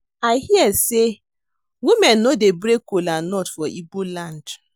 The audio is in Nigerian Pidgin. I hear say women no dey break kola nut for Igbo land